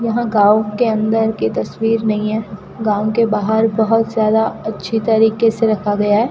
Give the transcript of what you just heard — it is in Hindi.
यह गांव के अंदर की तस्वीर नहीं है गांव के बाहर बहोत ज्यादा अच्छी तरीके से रखा गया है।